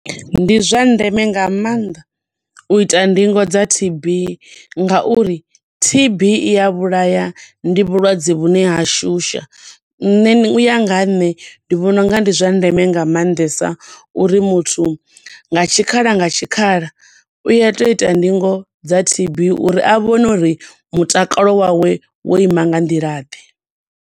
Ndi zwa ndeme nga maanḓa u ita ndingo dza T_B nga uri T_B iya vhulaya. Ndi vhulwadze vhune ha shusha. Nṋe u ya nga ha nṋe ndi vhona unga ndi zwa ndeme nga maanḓesa uri muthu nga tshikhala nga tshikhala u ya tea u ita ndingo dza T_B uri a vhone uri mutakalo wawe wo ima nga nḓila ḓe.